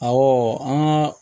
Awɔ an ka